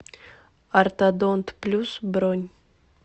ортодонт плюс бронь